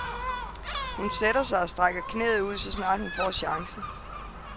Hun sætter sig og strækker knæet ud, så snart hun får chancen.